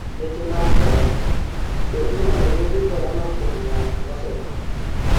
Weche mag korona: Be inyalo yudo corona kuom ng'at mosetho?